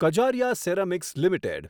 Kajaria ceramics limited